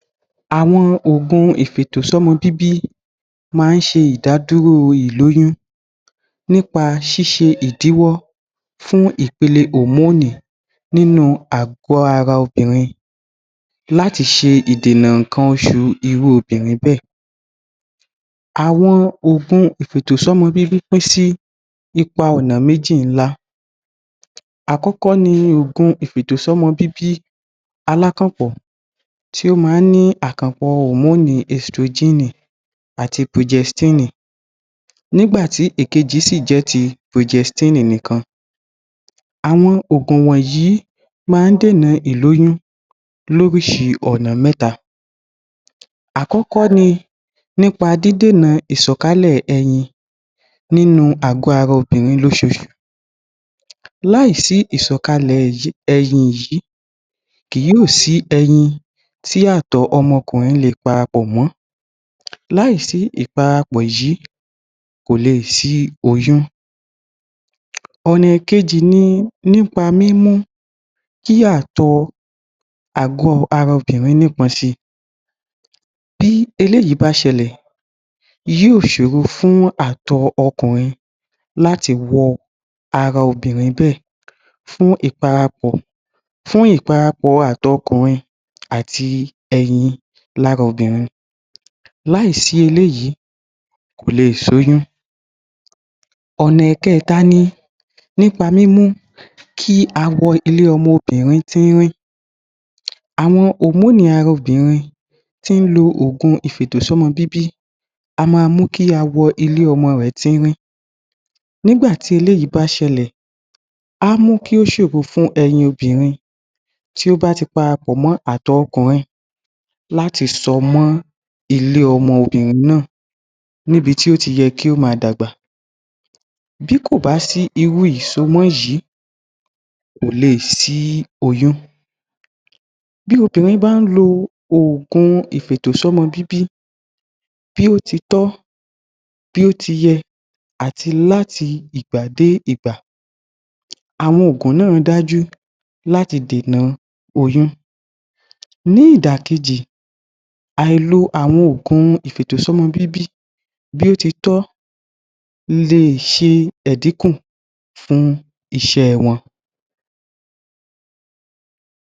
Àwọn òògùn ìfi ètò sí ọmọ bíbí máa ń sé ìdádúró ìlóyún nípa șí șe ìdíwó, fún ìpele òmónì, nínú àgọ́ ara obìrin láti se ìdènà ìkan osù irú obìrin bẹ́ẹ̀ àwọn òògùn ìfi ètò sọ́mọ bíbí, pín sí ipa ọ̀nà méji ńlá. Àkọ́kọ́ ni òògùn ìfi ètò șọ́mọ bíbí, aláákànpọ̀ tí ó ma ń ní àkànpọ̀ òmónì ẹstrujínì àti pujẹstínì nígbàtí èkejì síì jẹ́ ti pujestínì nì kan àwọn òògùn wọ́nyí máa ń dẹ̀nà ìlóyún lóríșìí ònà mẹ́ta àkọ́kọ́ ni nípa dídènà ìșòkalè ẹyin nínú àgọ́ ara obìrin lósoosù láì sí ìșò kalẹ̀ ẹyin yìí kì yóò sí ẹyin tí àtọ̀ ọmọ ọkùnrin leè para pọ̀mọ́ láì sí ìparapọ̀ yíì, láì sí ìparapò yíì kò le sí oyún. ọ̀nà èkejì ni nípa mímú kí àtọ̀ọ àgọ́ ara obìrin nípọn síi bí eléyìí bá șelẹ̀ yóò sòrò fún àtọ̀ ọkùnrin láti wọ ara obìrin bẹ́ẹ̀ fún ìparapọ̀ fún ìparapọ̀ àtọọ ọkùnrin àti ẹyin lará obìrin láì sí eléyìí kòle sí oyún ònà ẹ̀kẹta ni nípa mímú kí awọ ilé ọmọbìrin tírín, àwọn òmónì ara obìrin tí ń lo òògùn ìfiètò sí ọmọ b́ibí a máa mú kí ilé awọ rẹẹ tírín nígbàtí eléyìí bá șẹlẹ̀ á mú kí ó șòro fún ẹyin obìrin tí ó bá ti parapọ̀ mó àtọọ ọkùnrin láti sọmọ́ ilé ọmọbìrin náà níbití ó ti ye kí ó máa dàgbà bí kò bá sí irú ìșọmọ yìí kò le sí oyún bí obìrin bá ń lo òògùn ìfi ètò sí ọmọ bíbí bí ó ti tọ́ bí ó ti yẹ àti láti ìgbà déé ìgbà àwọn òògùn náà dájú láti dènà oyún ní ìdàkejì aìlo àwon òògùn ìfi ètò sí ọmọ bíbí bí óti tọ́ leè șe ìdíkún fún isé wọn.